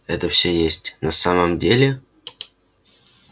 это всё есть на самом деле